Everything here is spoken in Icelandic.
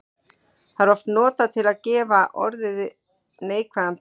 Það er oft notað til að gefa orði neikvæðan blæ.